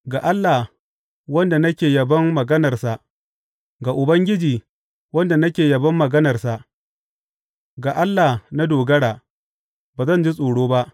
Ga Allah, wanda nake yabon maganarsa, ga Ubangiji, wanda nake yabon maganarsa, ga Allah na dogara; ba zan ji tsoro ba.